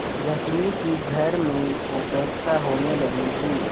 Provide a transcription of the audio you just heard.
रश्मि की घर में उपेक्षा होने लगी थी